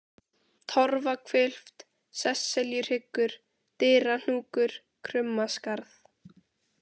Torfahvilft, Sesseljuhryggur, Dyrahnúkur, Krummaskarð